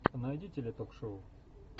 найди теле ток шоу